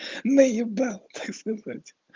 наебал так сказать